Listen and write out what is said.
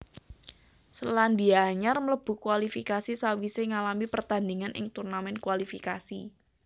Selandia Anyar mlebu kualifikasi sawisé ngalami pertandingan ing turnamen kualifikasi